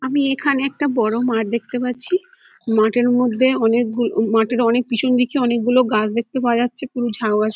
আমি এইখানে একটা বড় মাঠ দেখতে পাচ্ছিমাঠের মধ্যে অনেক গুলো মাঠের অনেক পিছন দিকে অনেক গুলো গাছ দেখতে পাওয়া যাচ্ছে পুরো ঝাউগাছ।